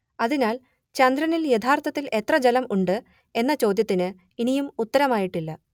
അതിനാൽ ചന്ദ്രനിൽ യഥാർത്ഥത്തിൽ എത്ര ജലം ഉണ്ട് എന്ന ചോദ്യത്തിന് ഇനിയും ഉത്തരമായിട്ടില്ല